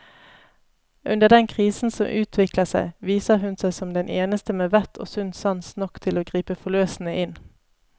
Under den krisen som utvikler seg, viser hun seg som den eneste med vett og sunn sans nok til å gripe forløsende inn.